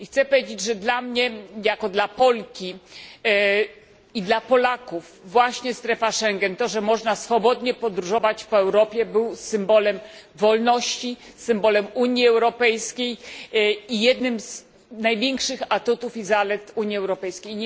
Chcę powiedzieć, że dla mnie, jako dla Polki, i dla Polaków właśnie strefa Schengen to, że można swobodnie podróżować po Europie była symbolem wolności, symbolem Unii Europejskiej i jednym z największych atutów i zalet Unii Europejskiej.